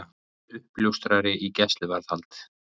Uppljóstrari í gæsluvarðhald